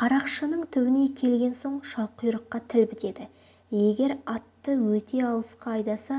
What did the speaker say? қарақшының түбіне келген соң шалқұйрыққа тіл бітеді егер атты өте алысқа айдаса